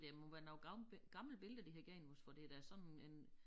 Det må være noget gammelt gammelt billeder de har givet os for det da sådan en